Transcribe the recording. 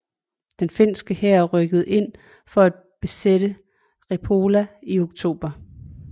Den finske hær rykkede ind for at besætte Repola i oktober